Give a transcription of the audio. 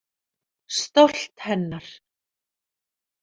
Stolt hennar.